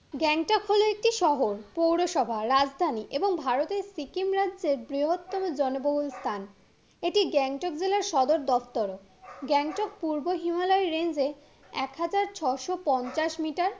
গ্যাংটক হলো একটি শহর পৌরসভা রাজধানী এবং ভারতের সিকিম রাজ্যের বৃহত্তম জনবহুল স্থান এটি গ্যাংটক জেলার সদর দপ্তরও গ্যাংটক পূর্ব হিমালয় range এ এক হাজার ছশো পঞ্চাশ মিটার